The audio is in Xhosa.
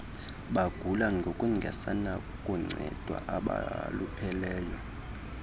bagula ngokungasenakuncedwa abalupheleyo